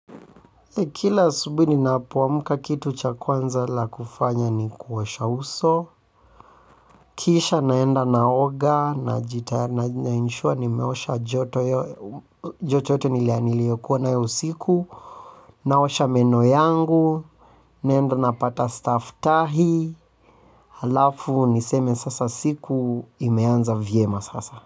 Kila asubui ni napoamka kitu cha kwanza la kufanya ni kuosha uso. Kisha naenda naoga na jitaya na inshua ni meosha joto yote nilianiliyokuwa na yo usiku. Naosha meno yangu. Naenda na pata staftahi. Halafu niseme sasa siku imeanza vyema sasa.